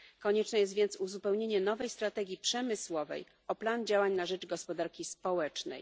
Konieczne jest więc uzupełnienie nowej strategii przemysłowej o plan działań na rzecz gospodarki społecznej.